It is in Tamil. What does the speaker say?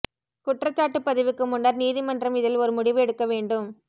குற்றச்சாட்டு பதிவுக்கு முன்னர் நீதிமன்றம் இதில் ஒரு முடிவு எடுக்க வேண்டும்